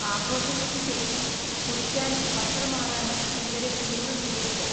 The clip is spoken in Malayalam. ആഘോഷങ്ങൾക്ക് ശേഷം കുളിക്കാനും വസ്ത്രം മാറാനും സ്‌കൂളിലെ കുളിമുറി ഉപയോഗിക്കാം.